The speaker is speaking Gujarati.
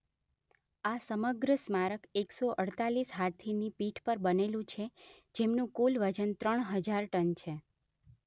આ સમગ્ર સ્મારક એક સો અડતાલીસ હાથીની પીઠ પર બનેલુ છે જેમનુ કુલ વજન ત્રણ હજાર ટન છે